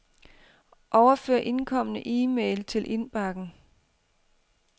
Overfør indkomne e-mail til indbakken.